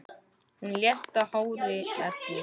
Hún lést í hárri elli.